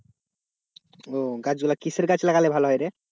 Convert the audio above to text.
ও গাছ গুলো কিসের গাছ লাগালে ভালো হয় রে?